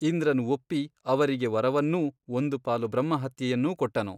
ಇಂದ್ರನು ಒಪ್ಪಿ ಅವರಿಗೆ ವರವನ್ನೂ ಒಂದು ಪಾಲು ಬ್ರಹ್ಮಹತ್ಯೆಯನ್ನೂ ಕೊಟ್ಟನು.